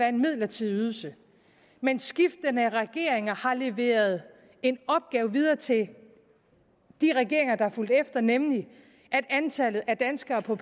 en midlertidig ydelse men skiftende regeringer har leveret en opgave videre til de regeringer der fulgte efter nemlig at antallet af danskere på